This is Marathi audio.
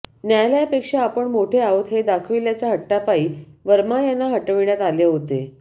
न्यायालयापेक्षा आपण मोठे आहोत हे दाखविल्याच्या हट्टापायी वर्मा यांना हटविण्यात आले होते